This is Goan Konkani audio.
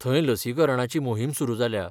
थंय लसीकरणाची मोहीम सुरू जाल्या.